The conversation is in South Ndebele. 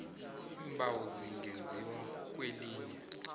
iimbawo zingenziwa kwelinye